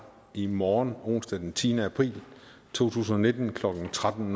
i morgen onsdag den tiende april to tusind og nitten klokken tretten